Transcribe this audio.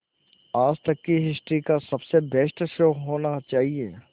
आज तक की हिस्ट्री का सबसे बेस्ट शो होना चाहिए